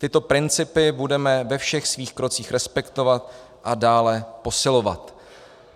Tyto principy budeme ve všech svých krocích respektovat a dále posilovat."